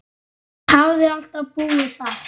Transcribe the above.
Hafði alltaf búið þar.